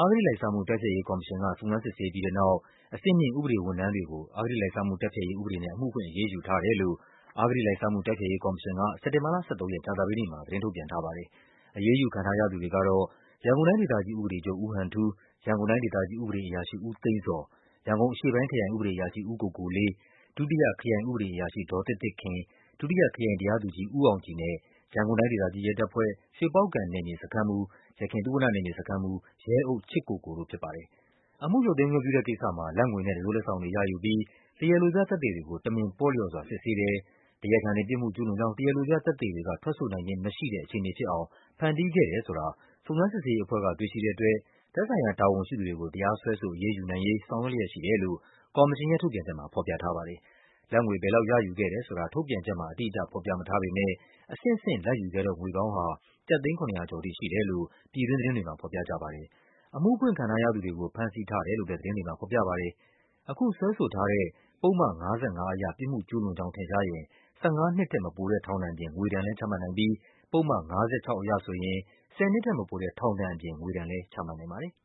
အဂတိလိုက်စားမှု တိုက်ဖျက်ရေးကော်မရှင်က စုံစမ်းစစ်ဆေးပြီးတဲ့နောက် အဆင့်မြင့် ဥပဒေဝန်ထမ်းတွေကို အဂတိလိုက်စားမှုတိုက်ဖျက်ရေး ဥပဒေနဲ့ အမှုဖွင့် အရေးယူထားတယ်လို့ အဂတိလိုက်စားမှု တိုက်ဖျက်ရေးကော်မရှင်က စက်တင်ဘာလ ၁၃ ရက်၊ ကြာသပတေးနေ့မှာ သတင်းထုတ်ပြန်ထားပါတယ်။ အရေးယူခံထားရသူတွေကတော့ ရန်ကုန်တိုင်းဒေသကြီးဥပဒေချုပ် ဦးဟန်ထူး၊ ရန်ကုန်တိုင်းဒေသကြီးဥပဒေအရာရှိ ဦးသိန်းဇော်၊ ရန်ကုန်အရှေ့ပိုင်းခရိုင် ဥပဒေအရာရှိ ဦးကိုကိုလေး၊ ဒုတိယခရိုင်ဥပဒေအရာရှိ ဒေါ်သစ်သစ်ခင်၊ ဒုတိယခရိုင်တရားသူကြီး ဦးအောင်ကြည်နဲ့ ရန်ကုန်တိုင်းဒေသကြီးရဲတပ်ဖွဲ့၊ ရွှေပေါက္ကံနယ်မြေစခန်းမှူး (ယခင်သုဝဏ္ဏနယ်မြေစခန်းမှူး) ရဲအုပ်ချစ်ကိုကိုတို့ ဖြစ်ပါတယ်။ အမှုရုပ်သိမ်းခွင့်ပြုတဲ့ကိစ္စမှာ လာဘ်ငွေနဲ့ တံစိုးလက်ဆောင်တွေရယူပြီး တရားလိုပြသက်သေတွေကို တမင်ပေါ့လျော့စွာ စစ်ဆေး တယ်၊ တရားခံတွေ ပြစ်မှုကျူးလွန်ကြောင်း တရားလိုပြသက်သေတွေက ထွက်ဆိုနိုင်ခြင်းမရှိတဲ့ အခြေအနေဖြစ်အောင် ဖန်တီးခဲ့ တယ်ဆိုတာ စုံစမ်းစစ်ဆေးရေးအဖွဲ့က တွေ့ရှိတဲ့အတွက် သက်ဆိုင်ရာ တာဝန်ရှိသူတွေကို တရားစွဲဆို အရေးယူနိုင်ရေး ဆောင်ရွက်လျက်ရှိတယ်လို့ ကော်မရှင်ရဲ့ထုတ်ပြန်ချက်မှာ ဖော်ပြထားပါတယ်။ လာဘ်ငွေ ဘယ်လောက်ရယူခဲ့တယ်ဆိုတာ ထုတ်ပြန်ချက်မှာ အတိအကျ ဖော်ပြမထားပေမဲ့ အဆင့်ဆင့် လာဘ်ယူခဲ့တဲ့ ငွေပေါင်း ဟာ ကျပ်သိန်း ၇၀၀ ကျော်ထိရှိတယ်လို့ ပြည်တွင်းသတင်းတွေမှာ ဖော်ပြကြပါတယ်။ အမှုဖွင့်ခံထားရသူတွေကို ဖမ်းဆီးထား တယ်လို့လည်း သတင်းတွေမှာ ဖော်ပြပါတယ်။ အခုစွဲဆိုထားတဲ့ ပုဒ်မ ၅၅ အရ ပြစ်မှုကျူးလွန်ကြောင်းထင်ရှားရင် ၁၅ နှစ်ထက်မပိုတဲ့ထောင်ဒဏ်အပြင် ငွေဒဏ်လည်း ချမှတ်နိုင် ပြီး ပုဒ်မ ၅၆ အရဆိုရင် ၁၀ နှစ်ထက်မပိုတဲ့ ထောင်ဒဏ်အပြင် ငွေဒဏ်လည်း ချမှတ်နိုင်ပါတယ်။